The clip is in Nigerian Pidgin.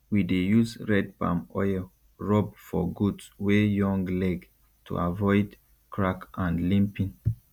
we dey use red palm oil rub for goat wey young leg to avoid crack and limping